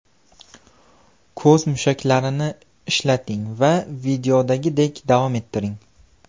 Ko‘z mushaklarini ishlating va videodagidek davom ettiring.